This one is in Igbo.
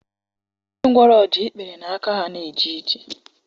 Ndị ngwọrọ ji ikpere na aka ha na-eje ije.